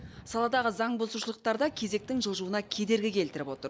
саладағы заңбұзушылықтар да кезектің жылжуына кедергі келтіріп отыр